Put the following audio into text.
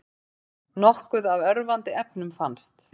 Nokkuð af örvandi efnum fannst